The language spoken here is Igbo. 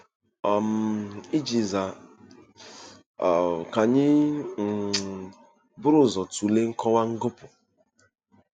um Iji zaa, um ka anyị um buru ụzọ tụlee nkọwa ngọpụ.